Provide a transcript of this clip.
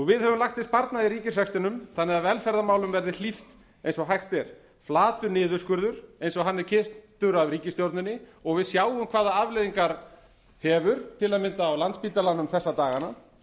við höfum lagt til sparnað í ríkisrekstrinum þannig að velferðarmálum verði hlíft eins og hægt er flatur niðurskurður eins og hann er kynntur af ríkisstjórninni og við sjáum hvaða afleiðingar hefur til að mynda á landspítalanum þessa dagana